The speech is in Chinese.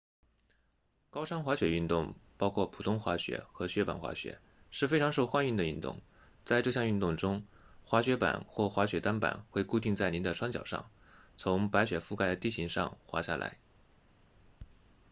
高山滑雪运动包括普通滑雪和雪板滑雪是非常受欢迎的运动在这项运动中滑雪板或滑雪单板会固定在您的双脚上从白雪覆盖的地形上滑下来